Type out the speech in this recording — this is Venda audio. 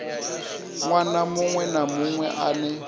ṅwana muṅwe na muṅwe ane